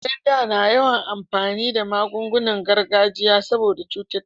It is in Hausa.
Mutanen da na yawan amfani da magungunan gargajiya saboda cututtuka